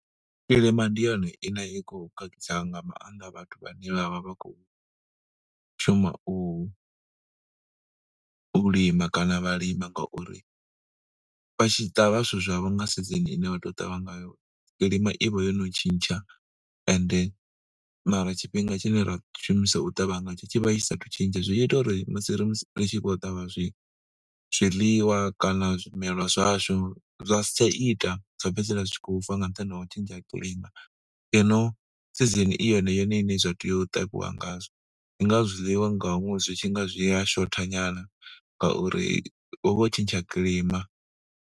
Kilima ndi yone ine a i khou khakhisa nga maaṋda vhathu vhanzhi vhane vha vha vha khou shuma u lima kana vha lima ngauri vha tshi ṱavha zwithu zwavho nga season ine vha tea u ṱavha ngayo, kilima i vha yo no tshintsha and mara tshifhinga tshine ra shumisa u ṱavha ngatsho tshi vha tshi saathu tshentsha. Zwi ita uri musi ri musi ri tshi khou ṱavha zwi zwiḽiwa kana zwimelwa zwashu, zwa si tsha ita zwa fhedzisela zwi tshi khou fa nga nṱhani ho u tshentsha ha kilima ngeno season i yone yone iṋe zwa tea u ṱavhiwa ngazwo. Ndi ngazwo zwiḽiwa nga ṅwedzi zwi tshi nga zwi ya shotha nyana ngauri hu vha ho tshentsha kilima.